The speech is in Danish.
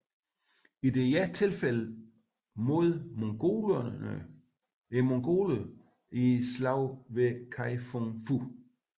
I dette tilfælde mod mongolerne i slaget ved Kai Fung Fu